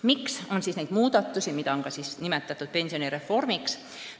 Miks me soovime teha neid muudatusi, mida on nimetatud ka pensionireformiks?